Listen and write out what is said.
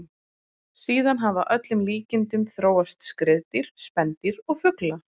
Síðan hafa að öllum líkindum þróast skriðdýr, spendýr og fuglar.